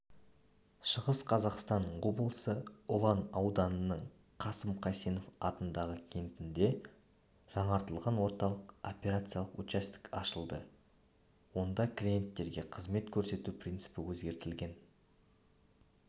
шығыс қазақстан облысы ұлан ауданының қасым қайсенов атындағы кентінде жаңартылған орталық операциялық учаске ашылды онда клиенттерге қызмет көрсету принципі өзгертілген